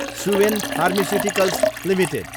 Suven pharmaceuticals Ltd